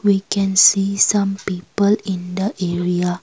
we can see some people in the area.